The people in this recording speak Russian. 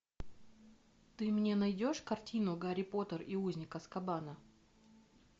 ты мне найдешь картину гарри поттер и узник азкабана